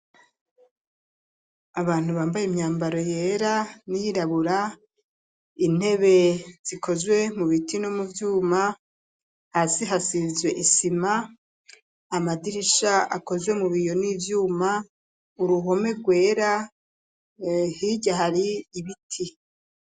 Abantu bambaye imyambaro yera ,n'iyirabura, intebe zikozwe mu biti no mu vyuma ,hasi hasizwe isima ,amadirisha akozwe mu biyo ni vyuma, uruhome rwera hirya hari ibiti.